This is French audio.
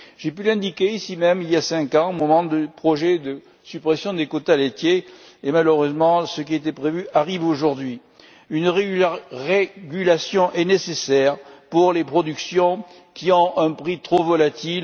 J'ai pu l'indiquer ici même, il y a cinq ans, au moment du projet de suppression des quotas laitiers. Malheureusement, ce qui était prévu arrive aujourd'hui. Une régulation est nécessaire pour les productions qui ont un prix trop volatil.